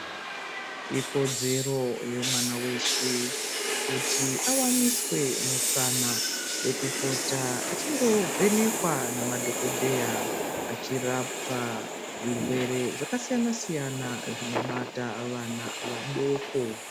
Ikodzero yemwana weshe kuti awanise mukanwa wekupota achindovhenekwa namadhokodheya achirapwa zvirwere zvakasiyana-siyana zvinobata vana vadoko.